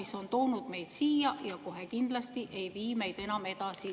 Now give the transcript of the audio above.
See on toonud meid siia ja see kohe kindlasti ei vii meid enam edasi.